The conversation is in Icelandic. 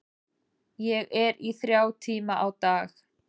Ég er í þrjá tíma á dag.